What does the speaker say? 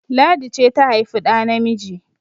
Ladi ce ta haifi ɗa namiji!